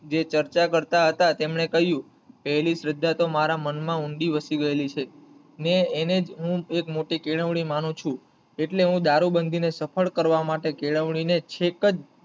જે ચર્ચા કરતા હતા તેમને કહીંયુ પેલી શ્રદ્ધા તો મારા મન માં ઊંડી વસી ગયેલી છે ને એને જ હું એક મોટી કેળવણી માંનુ છું એટલે હું દારૂબંધી ને સફળ કરવા માટે કેળવણી ને છેક જ,